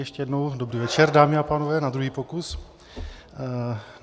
Ještě jednou dobrý večer, dámy a pánové, na druhý pokus.